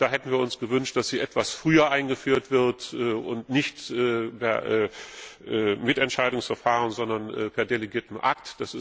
Da hätten wir uns gewünscht, dass sie etwas früher eingeführt wird und nicht per Mitentscheidungsverfahren, sondern per delegiertem Rechtsakt.